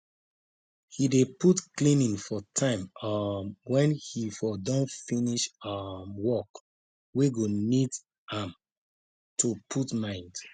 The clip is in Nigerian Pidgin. he dey put cleaning for time um wen he for don finish um work wey go need am to put mind